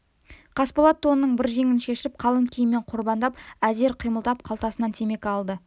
қасболат тонының бір жеңін шешіп қалың киіммен қорбаңдап әзер қимылдап қалтасынан темекі алды